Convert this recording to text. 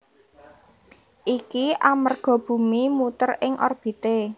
Iki amerga bumi muter ing orbité